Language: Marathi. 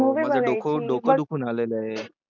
खूप डोकं दुखून राहिलेला आहे.